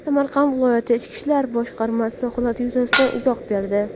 Samarqand viloyati Ichki ishlar boshqarmasi holat yuzasidan izoh berdi.